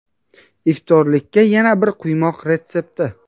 Iftorlikka yana bir quymoq retsepti.